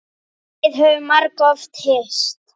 Við höfum margoft hist.